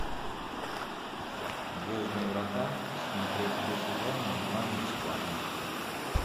звездные врата смотреть все сезоны онлайн бесплатно